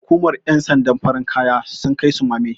hukumar yansandan farin kaya sun Kai sumame